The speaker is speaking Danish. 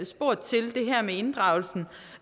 spurgt til det her med inddragelsen